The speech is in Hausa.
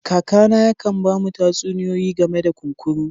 Kaka na yaka'n bamu tatsuniyoyi game da kunkuru.